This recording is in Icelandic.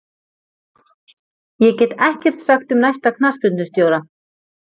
Ég get ekkert sagt um næsta knattspyrnustjóra.